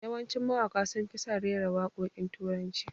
Yawancin mawaka sun fi son rera wakokin turanci